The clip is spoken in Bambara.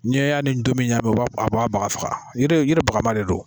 Ni y'a ni domin ɲakami a b'a baga faga. Yiri bagaman de don.